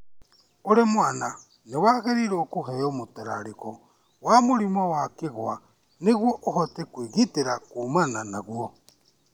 Ũrĩ mwana nĩ wagĩrĩirũo kũheo mũtararĩko wa mũrimũ wa kĩgwa nĩguo ũhote kwĩgitĩra kuumana naguo.